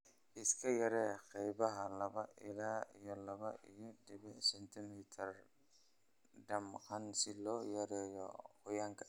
Iska yaree qaybaha laba ila iyo laba iyo dibic sentimitar; damqan si loo yareeyo qoyaanka